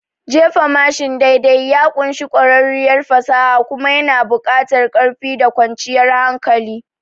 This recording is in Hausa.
Jefa mashin daidai ya ƙunshi ƙwarewar fasaha kuma yana buƙatar ƙarfi da kwanciyar hankali.